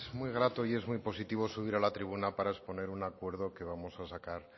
muy grato y es muy positivo subir a la tribuna para exponer un acuerdo que vamos a sacar